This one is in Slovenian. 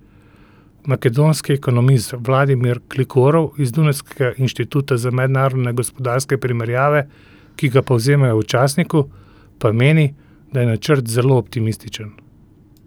Makedonski ekonomist Vladimir Gligorov iz dunajskega inštituta za mednarodne gospodarske primerjave, ki ga povzemajo v časniku, pa meni, da je načrt zelo optimističen.